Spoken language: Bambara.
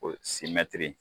O mɛtiri